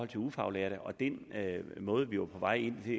de ufaglærte og den måde vi var på vej ind i